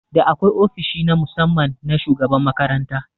Da akwai ofishi na musamman na shugaban makaranta